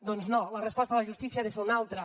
doncs no la resposta de la justícia ha de ser una altra